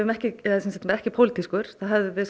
ekki ekki pólitískan hefðum við